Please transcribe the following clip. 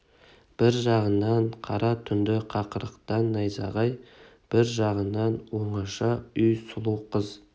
бір жағынан қара түнді қақыратқан найзағай бір жағынан оңаша үй сұлу қыз